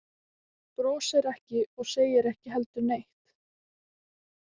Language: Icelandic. Brosir ekki og segir ekki heldur neitt.